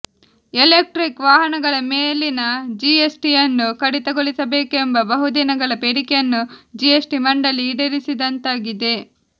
electric ವಾಹನಗಳ ಮೇಲಿನ ಜಿಎಸ್ ಟಿಯನ್ನು ಕಡಿತಗೊಳಿಸಬೇಕೆಂಬ ಬಹುದಿನಗಳ ಬೇಡಿಕೆಯನ್ನು ಜಿಎಸ್ ಟಿ ಮಂಡಳಿ ಈಡೇರಿಸಿದಂತಾಗಿದೆ